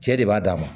Cɛ de b'a d'a ma